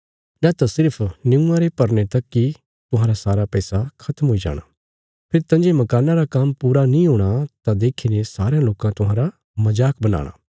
नैत सिर्फ निऊँआं रे भरने तक इ तुहांरा सारा पैसा खत्म हुई जाणा फेरी तंजे मकाना रा काम्म पूरा नीं हूणा तां देखीने सारयां लोकां तुहांरा मजाक बनाणा